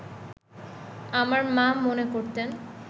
আমার মা মনে করতেন